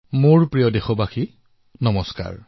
মোৰ মৰমৰ দেশবাসীসকল নমস্কাৰ